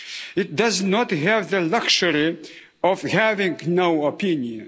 It does not have the luxury of having no opinion.